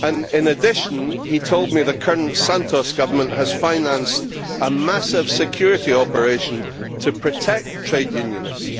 In addition he told me that the current Santos government has financed a massive security operation to protect trade unionists.